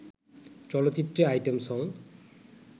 চলচ্চিত্রে item song